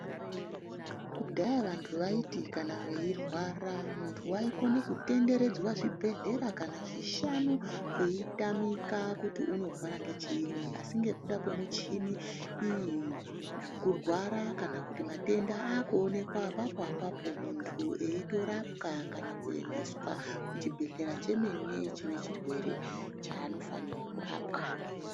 Kudhayaa vantu vaiti kana vairwara muntu waikona kutenderedzwa zvibhehleya kana zvishanu kweitamika kuti unorwara ngechiini ,asi ngekuda kwemushini muntu iyi kurwara kana kuti matenda akutoonekwa apapo apapo muntu eitorapwa kana kuendeswa kuchipatara kunechirwere chaanofanira kurapwa.